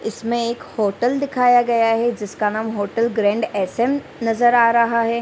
इसमें एक होटल दिखाया गया है जिसका नाम होटल ग्रैंड एस.एम. नजर आ रहा है।